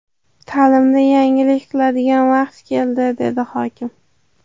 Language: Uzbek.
Ta’limda yangilik qiladigan vaqt keldi”, dedi hokim.